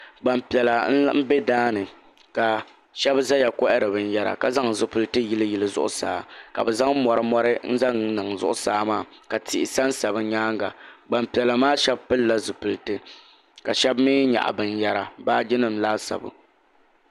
Gbampiɛla m-be daa ni ka shɛba zaya kɔhiri binyɛra ka zaŋ zipiliti yiliyili zuɣusaa ka bɛ zaŋ mɔri n-zaŋ niŋ zuɣusaa maa ka tihi sansa bɛ nyaaŋa gbampiɛla maa shɛba pilila zipiliti ka shɛba mi nyaɣi binyɛra baajinima laasabu.